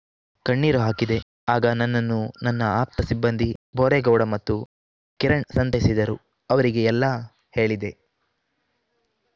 ಕಣ್ಣೀರು ಹಾಕಿದೆ ಆಗ ನನ್ನನ್ನು ನನ್ನ ಆಪ್ತ ಸಿಬ್ಬಂದಿ ಬೋರೇಗೌಡ ಮತ್ತು ಕಿರಣ್‌ ಸಂತೈಸಿದರು ಅವರಿಗೆ ಎಲ್ಲಾ ಹೇಳಿದೆ